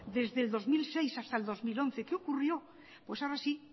desde el dos mil seis hasta el dos mil once qué ocurrió pues ahora sí